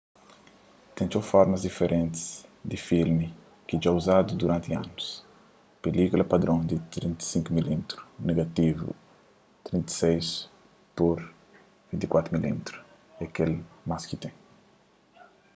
ten txeu formatus diferenti di filmi ki dja uzadu duranti anus. pilílkula padron di 35 mm negativu di 36 pur 24 mm é kel más ki ten